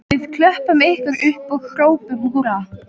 Við klöppum ykkur upp og hrópum húrra